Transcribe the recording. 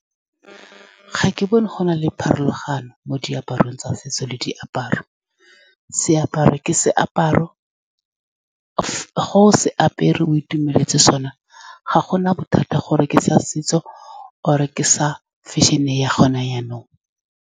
Ga ke bone go na le pharologano mo diaparong tsa setso le diaparo. Seaparo ke seaparo . Fa o se apara, o itumeletse sone, ga gona bothata gore ke sa setso or-e ke sa fashion-e ya gone jaanong.